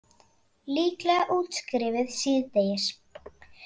Líklega útskrifuð síðdegis